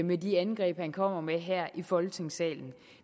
med de angreb han kommer med her i folketingssalen